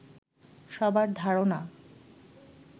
সবার ধারণা